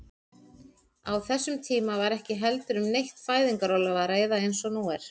Á þessum tíma var ekki heldur um neitt fæðingarorlof að ræða eins og nú er.